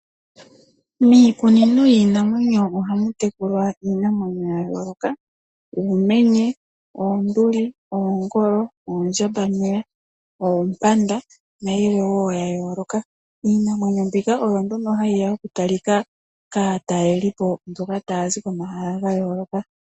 Miikunino yiinamwenyo ohamu tekulwa iinamwenyo yayooloka, uumenye, oonduli, oongolo, oondjambameya, oompanda nayilwe wo ya yooloka. Iinamwenyo mbika oyo nduno hayi ya okutalika kaatalelipo mboka taya zi komahala ga yooloka.